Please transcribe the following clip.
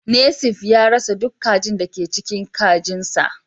Nesif ya rasa duk kajin da ke cikin kajinsa